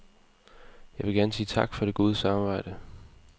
Jeg vil gerne sige tak for det gode samarbejde.